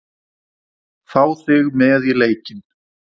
Fá þig með í leikinn.